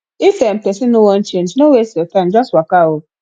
if um person no wan change no waste your time just waka um